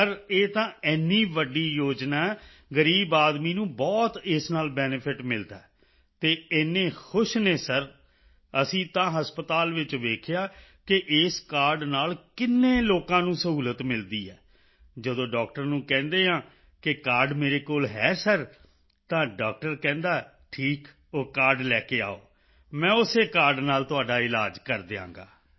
ਸਿਰ ਇਹ ਤਾਂ ਏਨੀ ਵੱਡੀ ਯੋਜਨਾ ਹੈ ਗ਼ਰੀਬ ਆਦਮੀ ਨੂੰ ਬਹੁਤ ਇਸ ਨਾਲ ਬੇਨੇਫਿਟ ਮਿਲਦਾ ਹੈ ਅਤੇ ਏਨੇ ਖੁਸ਼ ਹਨ ਸਰ ਅਸੀਂ ਤਾਂ ਹਸਪਤਾਲ ਵਿੱਚ ਵੇਖਿਆ ਹੈ ਕਿ ਇਸ ਕਾਰਡ ਨਾਲ ਕਿੰਨੇ ਲੋਕਾਂ ਨੂੰ ਸੁਵਿਧਾ ਮਿਲਦੀ ਹੈ ਜਦੋਂ ਡਾਕਟਰ ਨੂੰ ਕਹਿੰਦੇ ਹਾਂ ਕਿ ਕਾਰਡ ਮੇਰੇ ਕੋਲ ਹੈ ਸਿਰ ਤਾਂ ਡਾਕਟਰ ਕਹਿੰਦਾ ਹੈ ਠੀਕ ਉਹ ਕਾਰਡ ਲੈ ਕੇ ਆਓ ਮੈਂ ਉਸੇ ਕਾਰਡ ਨਾਲ ਤੁਹਾਡਾ ਇਲਾਜ ਕਰ ਦਿਆਂਗਾ